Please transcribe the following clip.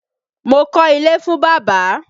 Mo kọ́ ilé fún bàbá.